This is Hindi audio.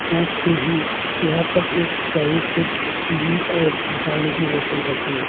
साथ में ही यहां पर एक फेवीक्विक की भी और पानी की बोतल रखी है।